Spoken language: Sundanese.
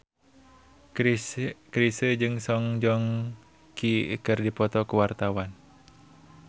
Chrisye jeung Song Joong Ki keur dipoto ku wartawan